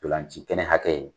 Ntolan ci kɛnɛ hakɛ